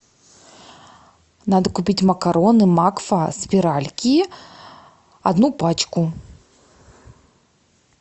надо купить макароны макфа спиральки одну пачку